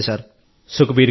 సుఖ్బీర్ గారూ